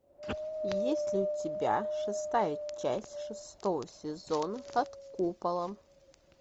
есть ли у тебя шестая часть шестого сезона под куполом